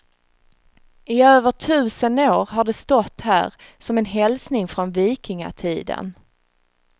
I över tusen år har de stått här, som en hälsning från vikingatiden.